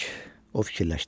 O fikirləşdi.